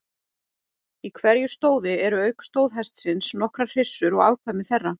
Í hverju stóði eru auk stóðhestsins nokkrar hryssur og afkvæmi þeirra.